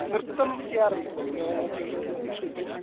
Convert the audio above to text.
നൃത്തം ചെയ്യാറുണ്ടോ വിനോദങ്ങൾക്കായിട്ട് ലക്ഷ്മി?